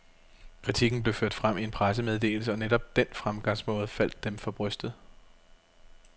Kritikken blev ført frem i en pressemeddelse, og netop den fremgangsmåde faldt dem for brystet.